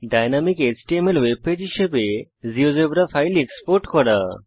dynamic HTML webpage হিসেবে GeoGebra file export করা